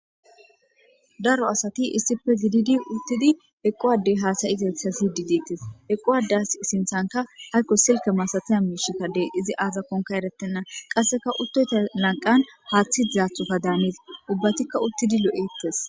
daro asati issife gididi uttidi eqquwadey haasayitetha sididtes eqquwades sinthanka haykko silke masatana miishikkadey izi aazakonka erettenna qasseka uttoyta lanqan haaththi dizaathuka daanis ubbatikka uttidi lo7ettes